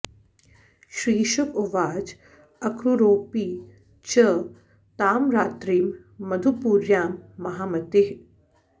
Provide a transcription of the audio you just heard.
श्रीशुक उवाच अक्रूरोऽपि च तां रात्रिं मधुपुर्यां महामतिः